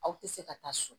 Aw tɛ se ka taa so